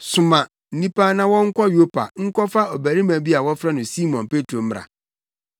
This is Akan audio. Soma nnipa na wɔnkɔ Yopa nkɔfa ɔbarima bi a wɔfrɛ no Simon Petro mmra.